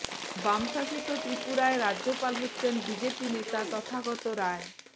বাম শাসিত ত্রিপুরার রাজ্যপাল হচ্ছেন বিজেপি নেতা তথাগত রায়